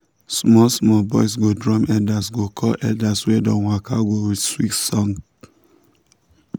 small small boys go drum elders go call elders wey don waka go with sweet song.